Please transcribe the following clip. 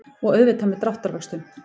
Og auðvitað með dráttarvöxtum.